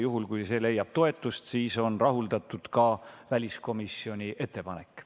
Juhul kui see leiab toetust, on rahuldatud ka väliskomisjoni ettepanek.